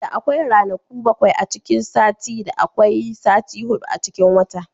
Da akwai ranaku bakwai a cikin sati, da akwai sati hudu a cikin wata.